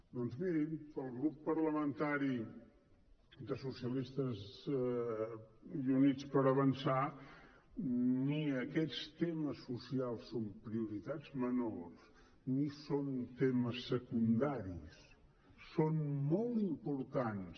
doncs mirin pel grup parlamentari de socialistes i units per avançar ni aquests temes socials són prioritats menors ni són temes secundaris són molt importants